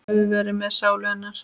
Guð veri með sálu hennar.